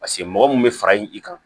Paseke mɔgɔ mun bɛ fara i kan